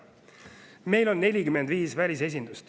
Meil on 45 välisesindust.